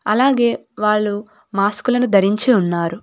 అలాగే వాళ్ళు మాస్కులను ధరించి ఉన్నారు.